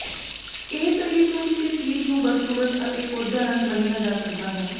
ਇਹ ਸਰੀਰ ਨੂੰ ਕਿਸੇ ਚੀਜ਼ ਨੂੰ ਬਦਸੂਰਤ ਅਤੇ ਕੋਝਾ ਰੰਗ ਮੰਨਿਆ ਜਾ ਸਕਦਾ ਹੈ